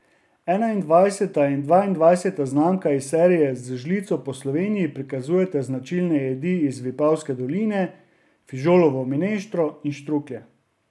Enaindvajseta in dvaindvajseta znamka iz serije Z žlico po Sloveniji prikazujeta značilni jedi iz Vipavske doline, fižolovo mineštro in štruklje.